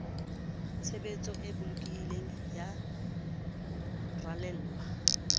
tshebetso e bolokehileng ya ralewa